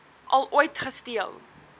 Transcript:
al ooit gesteel